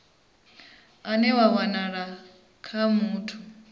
une wa wanala kha muthu